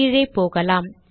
கீழே போகலாம்